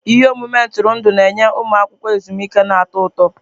Ihe omume ntụrụndụ na-enye ụmụ akwụkwọ ezumike na-atọ ụtọ.